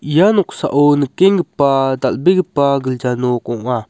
ia noksao nikenggipa dal·begipa gilja nok ong·a.